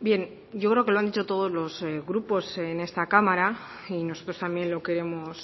bien yo creo que lo han dicho todos los grupos en esta cámara y nosotros también lo queremos